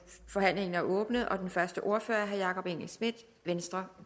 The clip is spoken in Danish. forhandlingen er åbnet og den første ordfører er herre jacob engel schmidt venstre